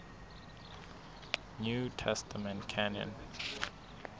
new testament canon